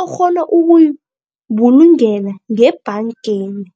okghona ukuyibulungela ngebhangeni.